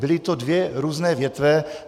Byly to dvě různé větve.